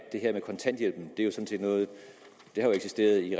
her med kontanthjælpen har jo eksisteret i